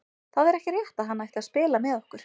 Það er ekki rétt að hann ætti að spila með okkur.